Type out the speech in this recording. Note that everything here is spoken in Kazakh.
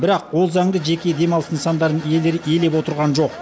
бірақ ол заңды жеке демалыс нысандарының иелері елеп отырған жоқ